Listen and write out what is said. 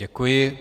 Děkuji.